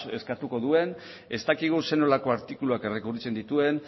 eskatuko duen ez dakigu zer nolako artikuluak errekurritzen dituen